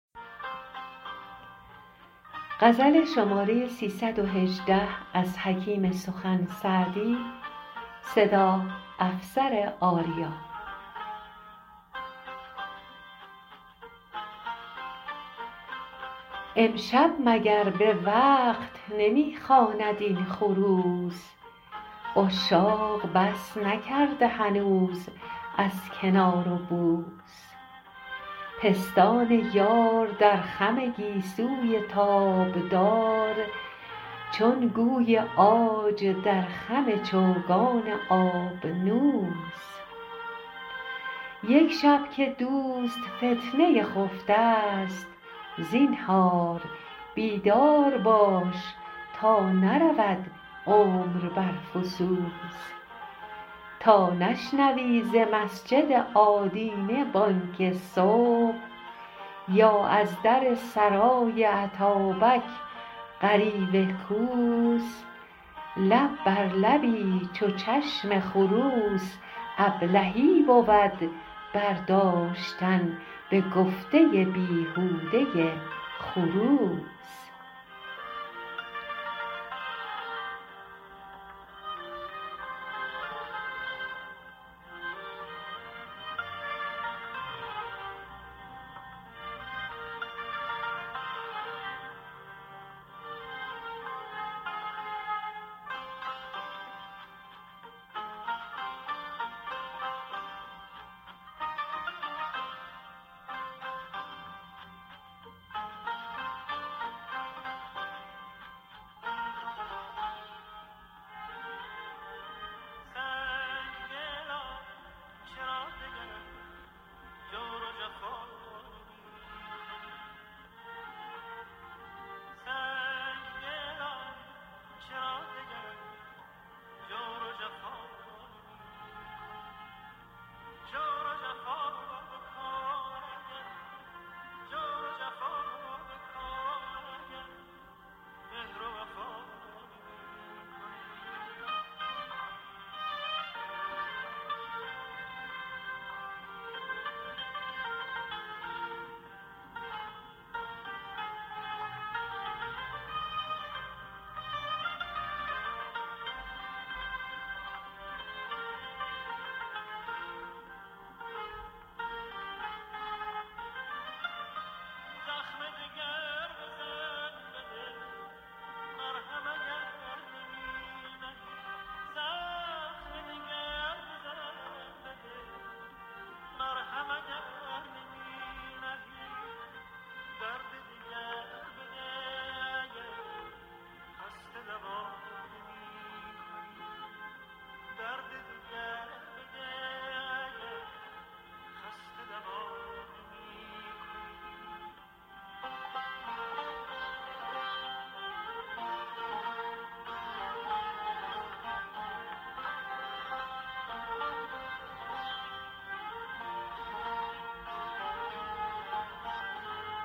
امشب مگر به وقت نمی خواند این خروس عشاق بس نکرده هنوز از کنار و بوس پستان یار در خم گیسوی تابدار چون گوی عاج در خم چوگان آبنوس یک شب که دوست فتنه خفته ست زینهار بیدار باش تا نرود عمر بر فسوس تا نشنوی ز مسجد آدینه بانگ صبح یا از در سرای اتابک غریو کوس لب بر لبی چو چشم خروس ابلهی بود برداشتن به گفته بیهوده خروس